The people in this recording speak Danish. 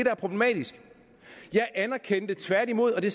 er problematisk jeg anerkendte tværtimod og det